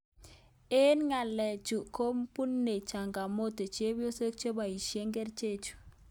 Amu ngaleechu kubune changamoto chebyosok cheboisye kerichechu